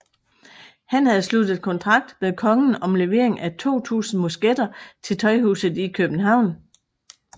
Han havde sluttet kontrakt med kongen om levering af 2000 musketter til Tøjhuset i Købehavn